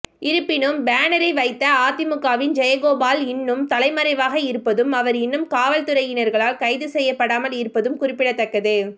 இருப்பினும் பேனரை வைத்த அதிமுகவின் ஜெயகோபால் இன்னும் தலைமறைவாக இருப்பதும் அவர் இன்னும் காவல்துறையினர்களால் கைது செய்யப்படாமல் இருப்பதும் குறிப்பிடத்தக்கது